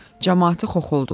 Camaatı xoxoldular.